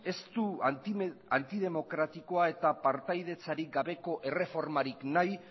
ez du antidemokratikoa eta partaidetzarik gabeko erreformarik nahi